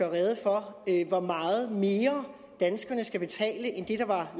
rede for hvor meget mere danskerne skal betale end det der var